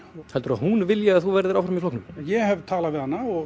heldurðu að hún vilji að þú verðir áfram í flokknum ég hef talað við hana og